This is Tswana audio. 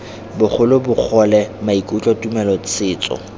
bogolo bogole maikutlo tumelo setso